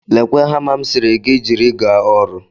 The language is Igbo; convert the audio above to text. Lekwa hama m sịrị gị jiri gaa ọrụ